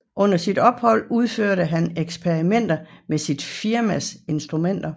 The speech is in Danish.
Under sit ophold udførte han eksperimenter med sit firmas instrumenter